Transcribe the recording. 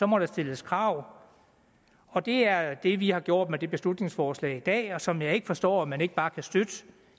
må der stilles krav og det er det vi har gjort med det beslutningsforslag i dag som jeg ikke forstår at man ikke bare kan støtte